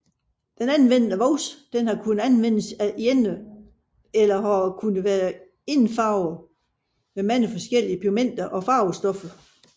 Den anvendte voks har kunne anvendes alene eller har kunnet været indfarvet med mange forskellige pigmenter og farvestoffer